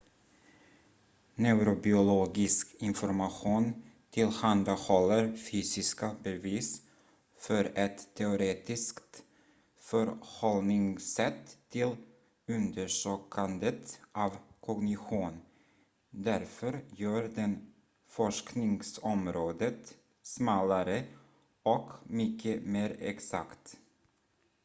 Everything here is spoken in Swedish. neurobiologisk information tillhandahåller fysiska bevis för ett teoretiskt förhållningssätt till undersökandet av kognition därför gör den forskningsområdet smalare och mycket mer exakt